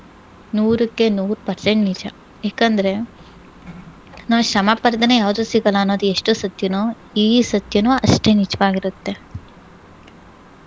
ನೂರಕ್ಕೆ ನೂರ್ percent ನಿಜ. ಯಾಕಂದ್ರೆ, ನಾವ್ ಶ್ರಮ ಪಡ್ದೇನೇ ಯಾವ್ದೂ ಸಿಗಲ್ಲಾ ಅನ್ನೋದು ಎಷ್ಟು ಸತ್ಯನೋ ಈ ಸತ್ಯನೂ ಅಷ್ಟೇ ನಿಜ್ವಾಗಿರತ್ತೆ.